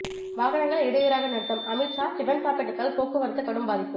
வாகனங்கள் இடையூறாக நிறுத்தம் அமித்ஷா டிபன் சாப்பிட்டதால் போக்குவரத்து கடும் பாதிப்பு